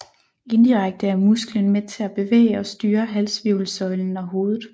Indirekte er musklen med til at bevæge og styre halshvirvelsøjlen og hovedet